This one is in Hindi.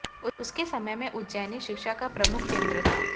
उसके समय में उज्जैनी शिक्षा का प्रमुख केन्द्र था